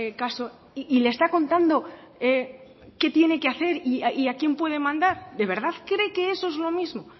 caso y le está contando qué tiene que hacer y a quien puede mandar de verdad cree que eso es lo mismo